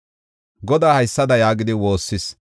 Godaa haysada yaagidi woossis: